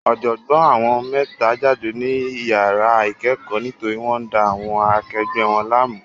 Ọ̀jọ̀gbọ́n àwọn mẹ́ta jáde ní iyàrá ìkẹ́kọ̀ọ́ nítorí wọ́n ń da àwọn akegbẹ̀ wọn láàmú.